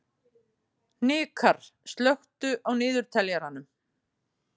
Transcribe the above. Hnikarr, slökktu á niðurteljaranum.